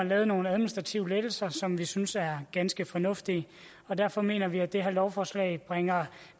lavet nogle administrative lettelser som vi synes er ganske fornuftige derfor mener vi at det her lovforslag bringer